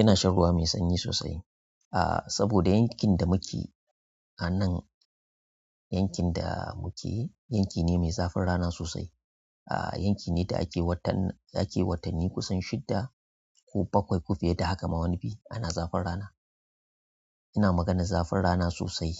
Ina shan ruwa mai sanyi sosai saboda yankin da muke a nan, yankin da muke yanki ne mai zafin rana sosai. Yankin ne da ake wata ake watanni kusan shidda ko bakwai ko fiye da haka ma wani biyu ana zafin rana. Ina maganar zafin rana sosai